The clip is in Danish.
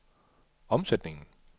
omsætningen